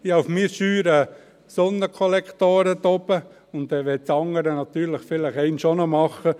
Ich habe auf meinem Scheunendach Sonnenkollektoren, und das andere möchte ich vielleicht einmal auch noch machen.